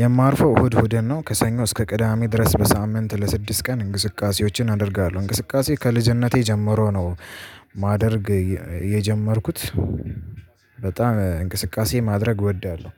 የማርፎ ህድ ህድን ነው ከሰኝ እስከ ቅዳሜ ድረስ በሳምንት ለስድስ ቀን እንቅስቃሴዎችን አደርጋለሁ። እንቅስቃሴ ከልጅነቴ ጀምሮ ነው ማደርግ የጀመርኩት። በጣም እንቅስቃሴ ማድረግ ወዳለው።